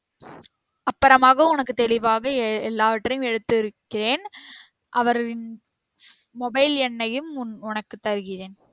அப்பறமாக உனக்கு தெளிவாக ஏ எல்லாவற்றையும் எடுத்துரைக்கிறேன் அவரின் mobile எண்ணையும் உனக்கு தருகிறேன்